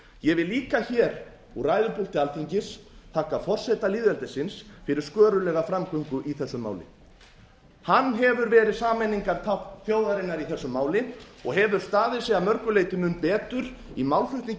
ég vil líka hér úr ræðupúlti alþingis þakka forseta lýðveldisins fyrir skörulega framgöngu í þessu máli hann hefur verið sameiningartákn þjóðarinnar í þessu máli og hefur staðið sig að mörgu leyti mun betur í málflutningi